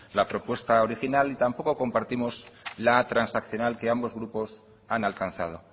la propuesta original y tampoco compartimos la transaccional que ambos grupos han alcanzado